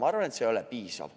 Ma arvan, et see ei ole piisav.